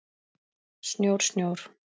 Snjór, snjór.